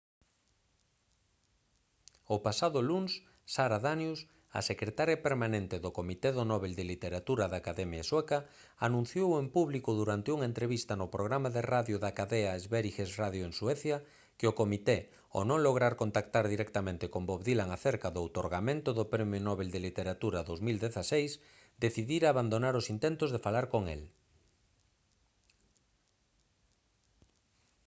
o pasado luns sara danius a secretaria permanente do comité do nobel de literatura da academia sueca anunciou en público durante unha entrevista no programa de radio da cadea sveriges radio en suecia que o comité ao non lograr contactar directamente con bob dylan acerca do outorgamento do premio nobel de literatura 2016 decidira abandonar os intentos de falar con el